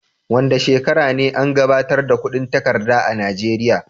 Wanda shekara ne an gabatar da kudin takarda a najeria?